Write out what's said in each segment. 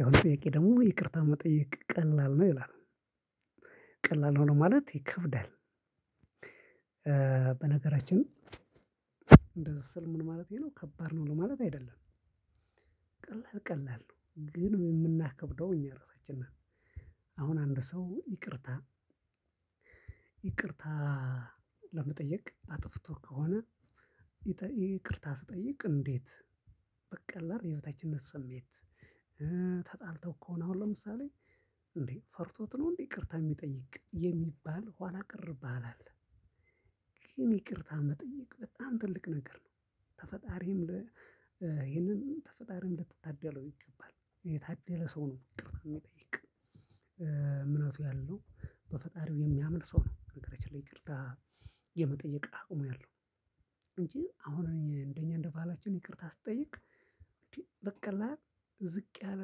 ያው ጥያቄ ደግሞ ይቅርታ መጠየቅ ቀላል ነው ይላል ቀላል ሆነ ማለት ይከብዳል። በነገራችን እንደዚህ ስል ምን ማለት ነው ከባድ ነው ማለት አይደለም። ቀላል ቀላል ነው ግን የምናከብደው እኛ ራሳችን ነን። አሁን አንድ ሰው ይቅርታ ይቅርታ ለመጠየቅ አጥፍቶ ከሆነ ይቅርታ ሲጠይቅ እንዴት? በቀላል የበታችነት ስሜት ተጣልተው ከሆነ አሁን ለምሳሌ እንዴ ፈርቶት ነው እንዴ ይቅርታ የሚጠይቅ የሚባል ኋላ ቀር በዓል አለ። ግን ይቅርታ መጠየቅ በጣም ትልቅ ነገር ነው። ከፈጣሪም ይሄንን ከፈጣሪ እንድትታደለው ይገባል የታደለ ሰው ነው የሚጠይቅ እምነቱ ያለው በፈጣሪው የሚያምን ሰው ነው ነገሮች ይቅርታ የመጠየቅ አቅሙ ያለው። እንጂ አሁን እንደኛ እንደ ባህላችን ይቅርታ ሲጠይቅ እንዴ በቀላል ዝቅ ያለ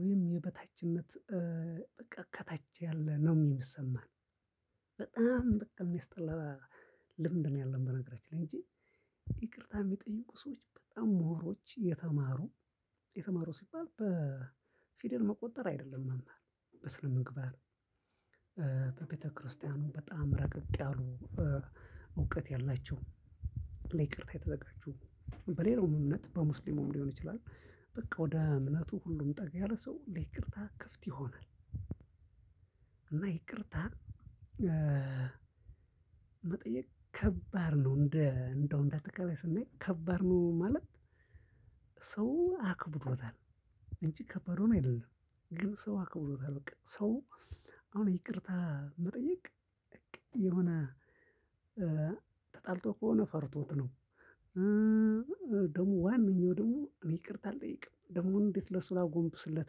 ወይም የበታችነት በቃ ከታች ያለ ነው የምሰማን በጣም በቃ የሚያስጠላ ልምድ ነው። ያለን በነገራችን ላይ እንጂ ይቅርታ የሚጠይቁ ሰዎች በጣም ምሁሮች፣ የተማሩ የተማሩ ሲባል በፊደል መቆጠር አይደለም መማር በስነምግባር በቤተክርስቲያኑ በጣም ረቀቅ ያሉ እውቀት ያላቸው ለይቅርታ የተዘጋጀው በሌላው እምነት በሙስሊም ሊሆን ይችላል በቃ ወደ እምነቱ ሁሉም ጠጋ ያለ ሰው ለይቅርታ ክፍት ይሆናል። እና ይቅርታ መጠየቅ ከባድ ነው እንደ እንደው እንደ አጠቃላይ ስናይ ከባድ ነው። ማለት ሰው አክብሮታል እንጂ ከባድ ሆኖ አይደለም ግን ሰው አክብሮታል በቃ ሰው አሁን ይቅርታ መጠየቅ የሆነ ተጣልቶ ከሆነ ፈርቶት ነው። ደግሞ ዋናው ደግሞ ይቅርታ አልጠይቅም ደግሞ እንዴት ለሱላ ላጎንብስለት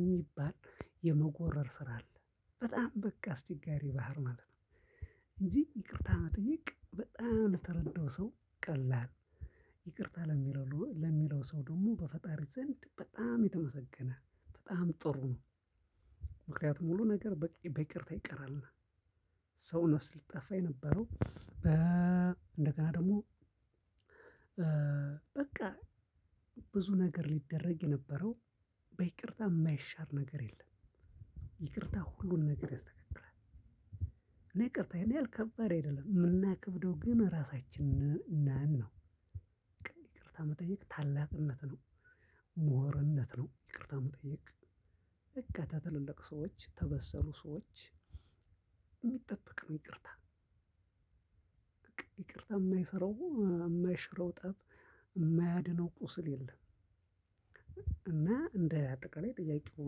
የሚባል የመጎረር ስራ አለ በጣም በቃ አስቸጋሪ ባህር ማለት ነው። እንጂ ይቅርታ መጠየቅ በጣም ለተረዳው ሰው ቀላል ይቅርታ ለሚለው ለሚለው ሰው ደግሞ በፈጣሪ ዘንድ በጣም የተመሰገነ፣ በጣም ጥሩ ነው። ምክንያቱም ሁሉ ነገር በቃ በይቅርታ ይቀራል ሰው ነፍስ ሊጠፋ የነበረው በ እንደገና ደግሞ በቃ ብዙ ነገር ሊደረግ የነበረው በይቅርታ የማይሻር ነገር የለም። ይቅርታ ሁሉን ነገር ያስተካክላል። እኔ ይቅርታ ያን ከባድ አይደለም የምናከብደው ግን ራሳችንን ነን ነው። ይቅርታ መጠየቅ ታላቅነት ነው፣ ሙህርነት ነው ይቅርታ መጠየቅ ከትልልቅ ሰዎች ከበሰሉ ሰዎች የሚጠበቅ ነው ይቅርታ ይቅርታ የማይሰራው፤ የማይሽረው ጠብ የማያድነው ቁስል የለም። እና እንደ አጠቃላይ ጥያቄው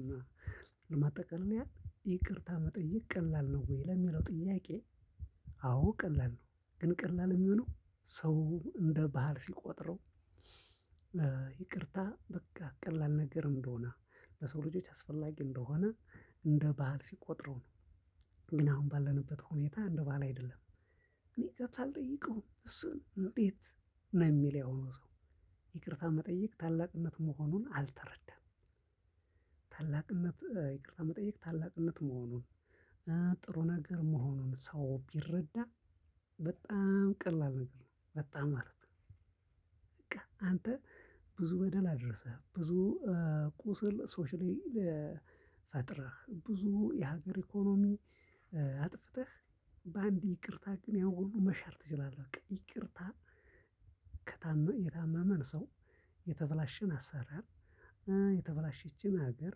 እና ለማጠቃሊያ ይቅርታ መጠየቅ ቀላል ነው? ወይ ለሚለው ጥያቄ አዎ፣ ቀላል ነው። ግን ቀላል የሚሆነው ሰው እንደ ባህል ሲቆጥረው ይቅርታ በቃ ቀላል ነገር እንደሆነ፣ በሰው ልጆች አስፈላጊ እንደሆነ፣ እንደ ባህል ሲቆጥረው ነው ግን አሁን ባለንበት ሁኔታ እንደ ባህል አይደለም። እኔ ይቅርታ ልጠይቀው እሱን እንዴት? ነው የሚል ያሁኑ ሰው ይቅርታ መጠየቅ ታላቅነት መሆኑን አልተረዳም። ታላቅነት ይቅርታ መጠየቅ ታላቅነት መሆኑን ጥሩ ነገር መሆኑን ሰው ቢረዳ በጣም ቀላል ነገር ነው፤ በጣም ማለት ነው። በቃ አንተ ብዙ በደል አድረሰህ፣ ብዙ ቁስል ሰዎች ላይ ልፈጥርህ፣ ብዙ የሀገር ኢኮኖሚ አጥፍተህ በአንድ ይቅርታ ግን ያው ሁሉ መሻር ትችላለህ። ይቅርታ የታመመን ሰው፣ የተበላሸን አሰራር፣ የተበላሸችን ሀገር፣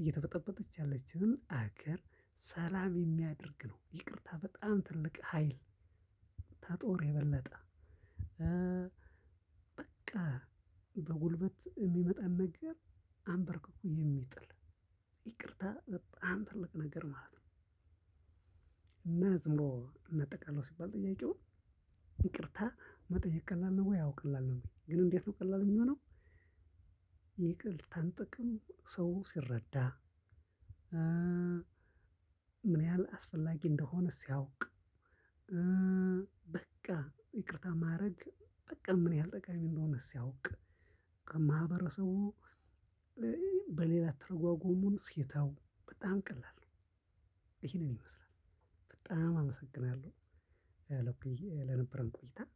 እየተበጠበጠች ያለችንን ሀገር ሰላም የሚያደርግ ነው ይቅርታ በጣም ትልቅ ሀይል። ተጦር የበለጠ በቃ በጉልበት የሚመጣን ነገር አንበርክኩ የሚጥል ይቅርታ በጣም ትልቅ ነገር ማለት ነው። እና ዝም እናጠቃልል ሲባል ጥያቄውን ይቅርታ መጠየቅ ቀላል ነው? ወይ አዎ ቀላል ነው ወይ ግን እንዴት ነው ቀላል የሚሆነው? ይቅርታን ጥቅም ሰው ሲረዳ። ያው ጥያቄ ደግሞ ይቅርታ መጠየቅ ቀላል ነው ይላል ቀላል ሆኖ ይከብዳል በነገራችን እንደዚህ ስል። ምን ማለት ነው? ከባድ ነው ለማለት አይደለም።